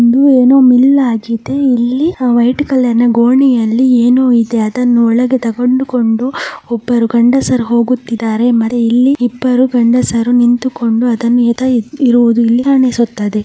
ಇದು ಏನೋ ಮಿಲ್ ಆಗಿದೆ ಆ ವೈಟ್ ಕಲರ್ನ ಗೋಣಿಯಲ್ಲಿ ಏನೋ ಇದೆ ಅದನ್ನು ಒಳಗೆ ತೆಗೆದುಕೊಂಡು ಒಬ್ಬರು ಗಂಡಸರು ಹೋಗುತ್ತಿದ್ದಾರೆ ಆಮೇಲೆ ಇಲ್ಲಿ ಇಬ್ಬರು ಗಂಡಸರು ನಿಂತುಕೊಂಡು ಎತ್ತ ಇರುವುದು ಇಲ್ಲಿ ಕಾಣಿಸುತ್ತದೆ.